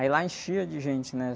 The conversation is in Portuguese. Aí lá enchia de gente, né?